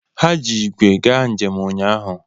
Ha ji ígwè gaa njem ụnyaahụ.